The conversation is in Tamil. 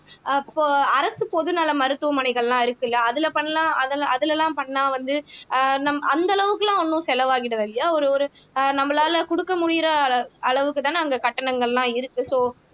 அப்போ அரசு பொதுநல மருத்துவமனைகள் எல்லாம் இருக்குல்ல அதுல பண்ணலாம் அதுல அதுலலாம் பண்ணா வந்து அஹ் நம் அந்த அளவுக்கு எல்லாம் ஒண்ணும் செலவாகிடாது இல்லையா ஒரு ஒரு அஹ் நம்மளால குடுக்க முடியற அளவுக்குத்தானே அங்க கட்டணங்கள் எல்லாம் இருக்கு சோ